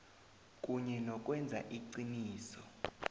kunye nokwenza iqiniso